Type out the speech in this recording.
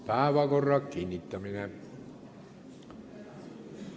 Päevakorra kinnitamine.